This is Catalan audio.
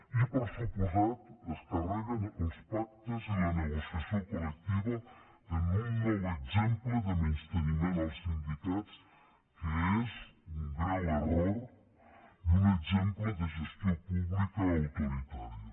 i per descomptat es carreguen els pactes i la negociació col·lectiva en un nou exemple de menysteniment als sindicats que és un greu error i un exemple de gestió pública autoritària